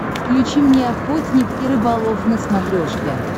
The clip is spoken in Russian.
включи мне охотник и рыболов на смотрешке